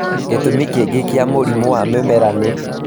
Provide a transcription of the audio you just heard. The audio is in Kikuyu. Gĩtũmi kĩngĩ kĩa mũrimũ ya mĩmera nĩ